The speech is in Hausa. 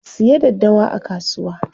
Ku siyo daddawa a kasuwa.